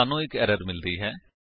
ਸਾਨੂੰ ਇੱਕ ਐਰਰ ਮਿਲਦੀ ਹੈ